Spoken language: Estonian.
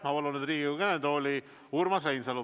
Ma palun nüüd Riigikogu kõnetooli Urmas Reinsalu.